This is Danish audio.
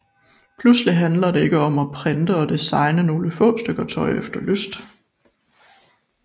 Pludselig handler det ikke om at printe og designe nogle få stykker tøj efter lyst